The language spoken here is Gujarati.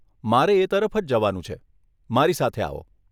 મારે એ તરફ જ જવાનું છે, મારી સાથે આવો.